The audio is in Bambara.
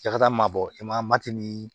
I ka taa mabɔ e ma mati ni